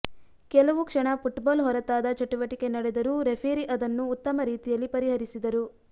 ಕೆಲವು ಕ್ಷಣ ಫುಟ್ಬಾಲ್ ಹೊರತಾದ ಚಟುವಟಿಕೆ ನಡೆದರೂ ರೆಫರಿ ಅದನ್ನು ಉತ್ತಮ ರೀತಿಯಲ್ಲಿ ಪರಿಹರಿಸಿದರು